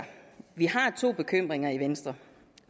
vi har to bekymringer i venstre